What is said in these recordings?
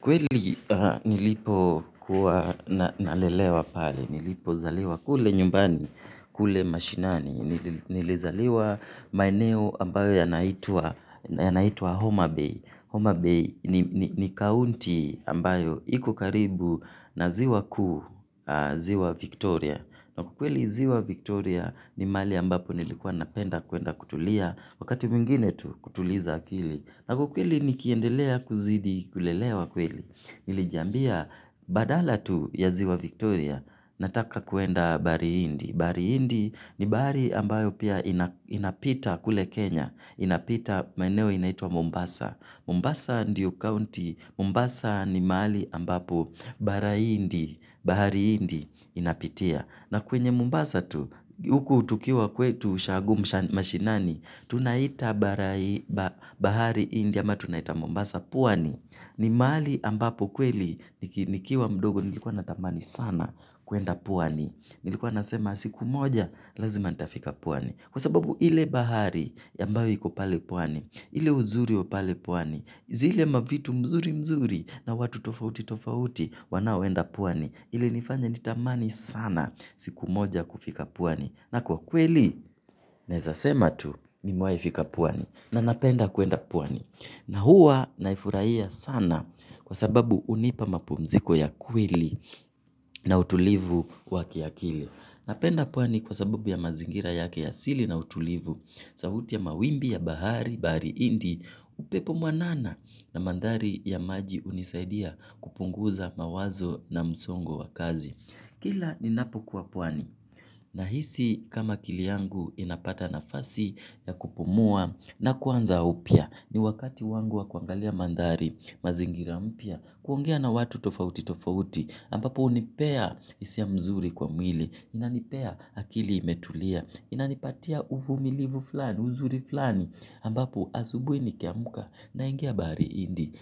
Kweli nilipokuwa nalelewa pale, nilipozaliwa kule nyumbani, kule mashinani, nilizaliwa maeneo ambayo yanaitwa Homa Bay. Homa Bay ni county ambayo iko karibu na ziwa kuu, ziwa Victoria. Na ukweli ziwa Victoria ni mahali ambapo nilikuwa napenda kuenda kutulia, wakati mingine tu kutuliza akili. Na ukweli nikiendelea kuzidi, kulelewa kweli. Nilijambia, badala tu ya ziwa Victoria, nataka kuenda bahari indi. Bahsri indi ni bahari ambayo pia inapita kule Kenya. Inapita, maeneo inaitwa Mombasa. Mombasa ndiyo county, Mombasa ni mahali ambapo bahari indi, bahari indi inapitia. Na kwenye mombasa tu, huku tukiwa kwetu ushago mashinani, tunaita bahari indi ama tunaita mombasa pwani. Ni mahali ambapo kweli nikiwa mdogo nilikuwa natamani sana kuenda pwani. Nilikuwa nasema siku moja, lazima natafika pwani. Kwa sababu ile bahari ambayo iko pale pwani, ile uzuri wa pale pwani, zile mavitu mzuri mzuri na watu tofauti tofauti wanaoenda pwani. Ilinifanya nitamani sana siku moja kufika pwani na kwa kweli naeza sema tu nimewai fika pwani na napenda kuenda pwan. Na hua naifurahia sana kwa sababu hunipa mapumziko ya kweli na utulivu kwa kiakili napenda pwani kwa sababu ya mazingira yake ya asili na utulivu sauti ya mawimbi ya bahari, bahari, indi upepo mwanana na mandhari ya maji hunisaidia kupunguza mawazo na msongo wa kazi kila ninapokuwa pwani nahisi kama akili yangu inapata nafasi ya kupumua na kuanza upya. Ni wakati wangu wa kuangalia mandhari, mazingira mpya, kuongea na watu tofauti tofauti ambapo hunipea hisia mzuri kwa mwili. Inanipea akili imetulia. Inanipatia uvumilivu fulani uzuri fulani ambapo asubuini niiamka naingia bahari indi.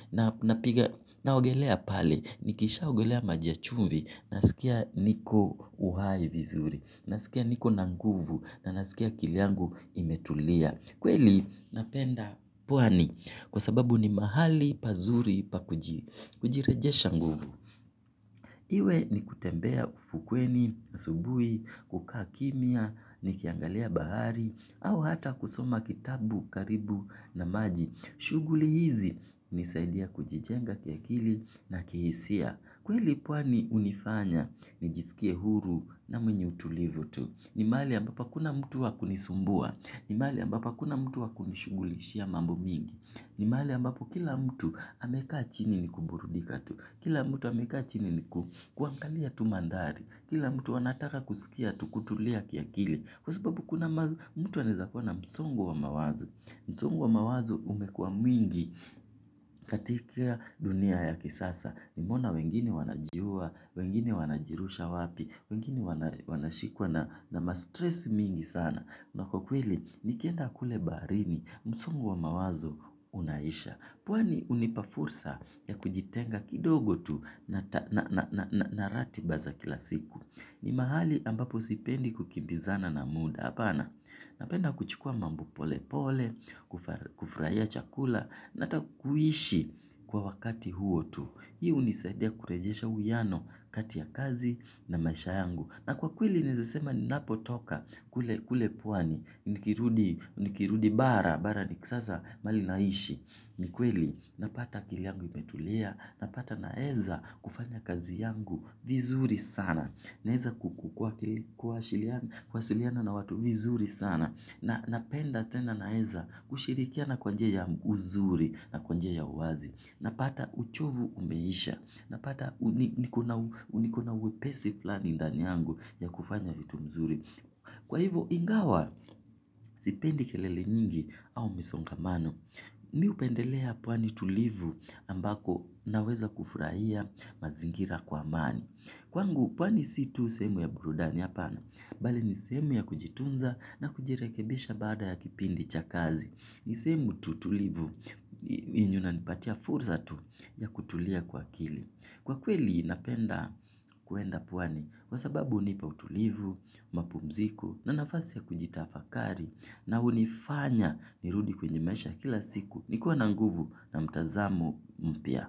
Naogelea pale, nikishaogelea maji ya chumvi, nasikia niko uhai vizuri, nasikia niko na nguvu, na nasikia akili yangu imetulia. Kweli napenda pwani kwa sababu ni mahali, pazuri, pakujirejesha nguvu. Iwe ni kutembea ufukweni, asubui, kukaa kimia, nikiangalia bahari, au hata kusoma kitabu karibu na maji. Shuguli hizi hunisaidia kujijenga kiakili na kihisia. Kweli pwani hunifanya nijisikie huru na mwenye utulivu tu. Ni mahali ambapo hakuna mtu wakunisumbua. Ni mahali ambapo hakuna mtu wakunishugulishia mambo mingi ni mahali ambapo kila mtu amekaa chini ni kuburudika tu. Kila mtu amekaa chini ni kuangalia tu mandhari kila mtu anataka kusikia tu kutulia kiakili. Kwa sababu kuna mtu anaeza kuwa na msongo wa mawazo. Msongo wa mawazo umekuwa mwingi katika dunia ya kisasa. Nimeona wengine wanajiua, wengine wanajirusha wapi, wengine wanashikwa na ma-stress mingi sana. Na kwa kweli, nikenda kule baharini. Msungo wa mawazo unaisha. Pwani hunipa fursa ya kujitenga kidogo tu na ratiba za kila siku. Ni mahali ambapo sipendi kukimbizana na muda hapana napenda kuchukua mambo pole pole, kufurahia chakula, na hata kuishi kwa wakati huo tu. Hii hunisaidia kurejesha uwiano kati ya kazi na maisha yangu. Na kwa kweli naeze sema ninapotoka kule pwani, nikirudi bara, bara ni kisasa mahali naishi, ni kweli, napata akili yangu imetulia, napata naeza kufanya kazi yangu vizuri sana, naeza kukukua kuwasiliana na watu vizuri sana, napenda tena naeza kushirikiana kwa njia ya uzuri na kwa njia ya uwazi, napata uchovu umeisha, napata niko na niko na uwepesi fulani ndani yangu ya kufanya vitu vizuri kwa hivyo ingawa sipendi kelele nyingi au misongamano. Mimi hupendelea pwani tulivu ambako naweza kufurahia mazingira kwa amani. Kwangu pwani si sehemu tu ya burudani hapana bali ni sehemu ya kujitunza na kujirekebisha baada ya kipindi cha kazi ni sehemu tu tulivu yenye inanipatia fursa tu ya kutulia kwa akili. Kwa kweli napenda kuenda pwani kwa sababu hunipa utulivu, mapumziko na nafasi ya kujitafakari na hunifanya nirudi kwenye maisha kila siku nikiwa na nguvu na mtazamo mpya.